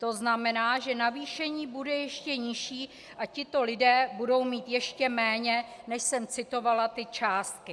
To znamená, že navýšení bude ještě nižší a tito lidé budou mít ještě méně, než jsem citovala ty částky.